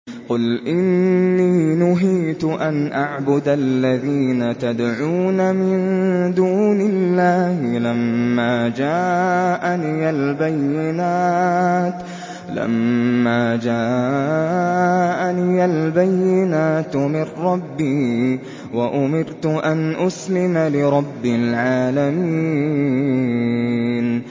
۞ قُلْ إِنِّي نُهِيتُ أَنْ أَعْبُدَ الَّذِينَ تَدْعُونَ مِن دُونِ اللَّهِ لَمَّا جَاءَنِيَ الْبَيِّنَاتُ مِن رَّبِّي وَأُمِرْتُ أَنْ أُسْلِمَ لِرَبِّ الْعَالَمِينَ